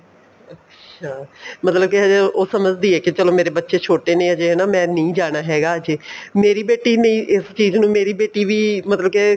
ਅੱਛਾ ਮਤਲਬ ਕੇ ਅਜੇ ਉਹ ਸਮਝਦੀ ਏ ਕੀ ਚਲੋਂ ਮੇਰੇ ਬੱਚੇ ਛੋਟੇ ਨੇ ਮੈਂ ਨਹੀਂ ਜਾਣਾ ਹੈਗਾ ਅਜੇ ਮੇਰੀ ਬੇਟੀ ਨਹੀਂ ਇਸ ਚੀਜ਼ ਨੂੰ ਮੇਰੀ ਬੇਟੀ ਵੀ ਮਤਲਬ ਕੇ